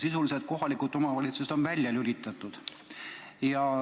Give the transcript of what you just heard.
Sisuliselt on kohalikud omavalitsused nüüd välja lülitatud.